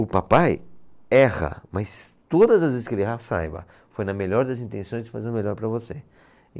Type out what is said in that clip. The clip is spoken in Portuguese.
O papai erra, mas todas as vezes que ele errar, saiba, foi na melhor das intenções de fazer o melhor para você.